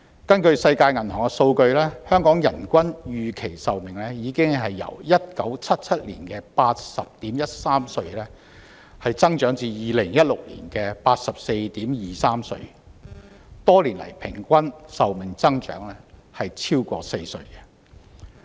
根據世界銀行的數據，香港的人均預期壽命已由1997年的 80.13 歲增長至2016年的 84.23 歲，多年來平均壽命增長超過4歲。